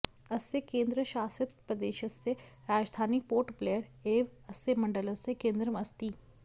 अस्य केन्द्रशासितप्रदेशस्य राजधानी पोर्ट ब्लेयर एव अस्य मण्डलस्य केन्द्रम् अस्ति